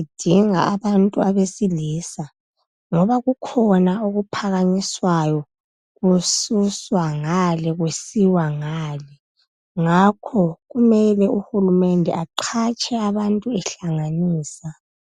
idinga abantu abesilisa, ngoba kukhona okuphakanyiswayo. Kususwa ngale. Kusiwa ngale. Ngakho kumele uhulumende, aqhatshe abantu ehlanganisa.